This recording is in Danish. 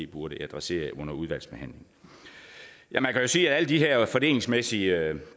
burde adressere under udvalgsbehandlingen man kan sige at alle de her fordelingsmæssige